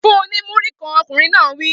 Fun-un ní Múrí-kan! Ọkùnrin náà wí.